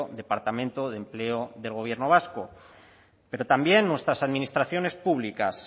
departamento de empleo del gobierno vasco pero también nuestras administraciones públicas